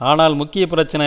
ஆனால் முக்கிய பிரச்சினை